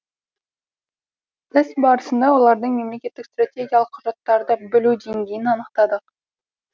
тест барысында олардың мемлекеттік стратегиялық құжаттарды білу деңгейін анықтадық